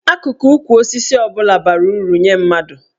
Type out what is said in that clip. Akụkụ ukwu osisi ọ bụla bara uru nye mmadụ.